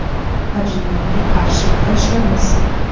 Ajinlarga qarshi kurashamiz.